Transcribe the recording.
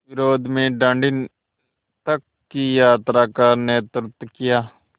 विरोध में दाँडी तक की यात्रा का नेतृत्व किया